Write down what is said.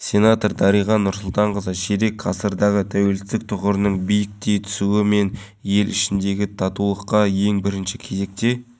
жастағы кәмшат жұбаева үш баланың анасы күнделікті серуенге шыққанда балалар алаңдарының қауіпсіздігіне назар аударады бүгінде жас ана астанада көптеп орнатылған балалар